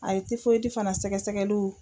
A ye fana sɛgɛsɛgɛliw.